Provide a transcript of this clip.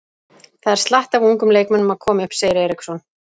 Það er slatti af ungum leikmönnum að koma upp, segir Eriksson.